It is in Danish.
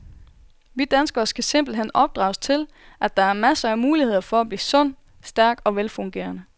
Vi danskere skal simpelt hen opdrages til, at der er masser af muligheder for at blive sund, stærk og velfungerende.